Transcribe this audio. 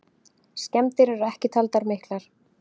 Skemmdir eru ekki taldar miklar.